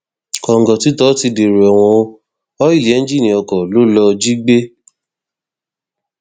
kòǹgòtítọ tí dèrò ẹwọn ò ọìlì ẹńjìnnì oko ló lọọ jí gbé